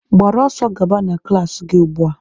Gbara ọsọ gaba na klaasị gị ugbua!